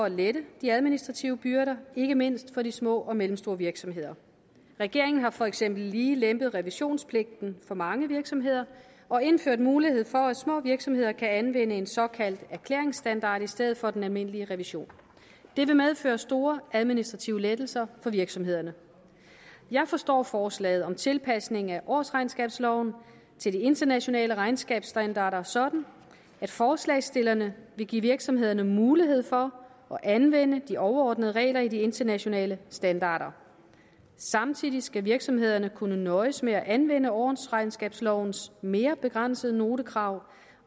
at lette de administrative byrder ikke mindst for de små og mellemstore virksomheder regeringen har for eksempel lige lempet revisionspligten for mange virksomheder og indført mulighed for at små virksomheder kan anvende en såkaldt erklæringsstandard i stedet for den almindelige revision det vil medføre store administrative lettelser for virksomhederne jeg forstår forslaget om tilpasning af årsregnskabsloven til de internationale regnskabsstandarder sådan at forslagsstillerne vil give virksomhederne mulighed for at anvende de overordnede regler i de internationale standarder samtidig skal virksomhederne kunne nøjes med at anvende årsregnskabslovens mere begrænsede notekrav